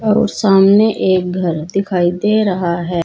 और सामने एक घर दिखाई दे रहा है।